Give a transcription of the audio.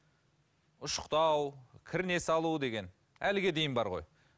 ұшықтау кірне салу деген әліге дейін бар ғой